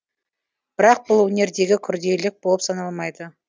бірақ бұл өнердегі күрделілік болып саналмайды